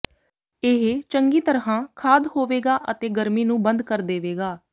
ਇਹ ਚੰਗੀ ਤਰ੍ਹਾਂ ਖਾਦ ਹੋਵੇਗਾ ਅਤੇ ਗਰਮੀ ਨੂੰ ਬੰਦ ਕਰ ਦੇਵੇਗਾ